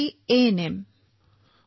মই এজন ANM sir